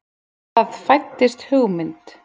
Það fæddist hugmynd.